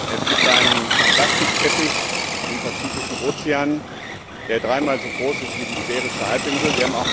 Es gibt einen Plastikteppich im Pazifischen Ozean, der dreimal so groß ist wie die Iberische Halbinsel.